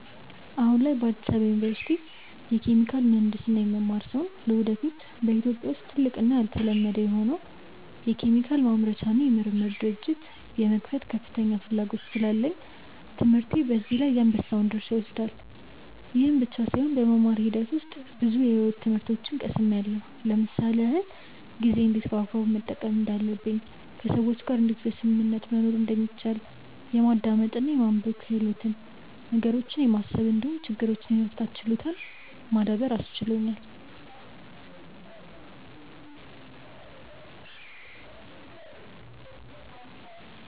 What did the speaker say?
አሁን ላይ በአዲስ አበባ ዩኒቨርሲቲ የኬሚካል ምሕንድስና የምማር ሲሆን ለወደፊት በኢትዮጵያ ውስጥ ትልቅ እና ያልተለመደ የሆነውን የኬሚካል ማምረቻ እና የምርምር ድርጅት የመክፈት ከፍተኛ ፍላጎት ስላለኝ ትምህርቴ በዚህ ላይ የአንበሳውን ድርሻ ይወስዳል። ይህ ብቻም ሳይሆን በመማር ሂደት ውስጥ ብዙ የሕይወት ትምህርቶችን ቀስምያለው ለምሳሌ ያክል፦ ጊዜን እንዴት በአግባቡ መጠቀም እንዳለብኝ፣ ከሰዎች ጋር እንዴት በስምምነት መኖር እንደሚቻል፣ የማዳመጥ እና የማንበብ ክህሎትን፣ ነገሮችን የማሰብ እንዲሁም ችግሮችን የመፍታት ችሎታን ማዳበር አስችሎኛል።